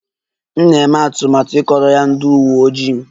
M na-eme atụmatụ ịkọrọ ya ndị uwe ojii